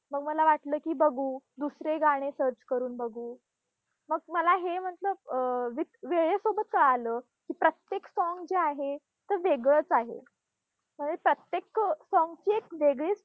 मग मला वाटलं की बघू, दुसरे गाणे search करून बघू. मग मला हे अं व वेळेसोबत कळालं की प्रत्येक song जे आहे ते वेगळंच आहे. अं प्रत्येक song ची एक वेगळीच